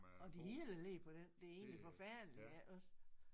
Og det hele ligger på den det er egentlig forfærdeligt iggås